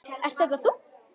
Ert þetta þú?